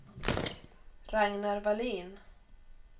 Ragnar Vallin